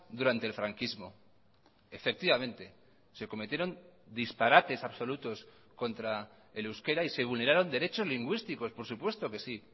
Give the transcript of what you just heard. durante el franquismo efectivamente se cometieron disparates absolutos contra el euskera y se vulneraron derechos lingüísticos por supuesto que sí